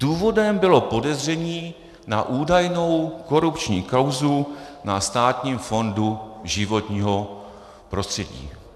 Důvodem bylo podezření na údajnou korupční kauzu na Státním fondu životního prostředí.